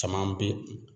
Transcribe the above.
Caman bi